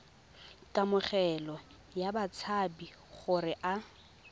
kamogelo ya batshabi gore a